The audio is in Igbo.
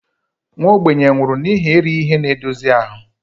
Nwa ogbenye nwụrụ n'ihi erighị ihe na-edozi ahụ